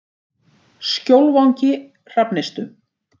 Skjólvangi Hrafnistu